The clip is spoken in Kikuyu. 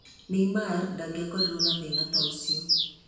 Neymar ndangĩakorirũo na thĩna ta ũcio.